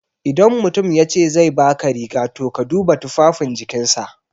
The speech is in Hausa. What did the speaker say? Idan mutum yace zai baka riga, to ka duba tufafin jikinsa.